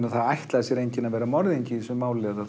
að það ætlaði sér enginn að vera morðingi í þessu máli